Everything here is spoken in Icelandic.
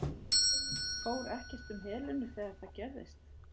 Fór ekkert um Helenu þegar það gerðist?